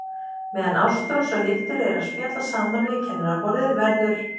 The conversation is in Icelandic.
Meðan Ástrós og Hildur eru að spjalla saman við kennaraborðið verður